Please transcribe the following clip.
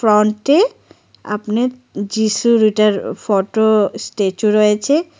অন্টি আপনে যীশুর ইটার ফটো স্টেচু রয়েছে।